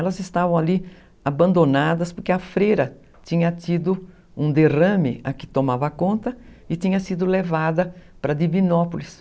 Elas estavam ali abandonadas porque a freira tinha tido um derrame a que tomava conta e tinha sido levada para Divinópolis.